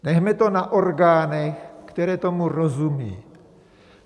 Nechme to na orgánech, které tomu rozumí.